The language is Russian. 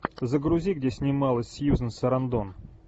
загрузи где снималась сьюзан сарандон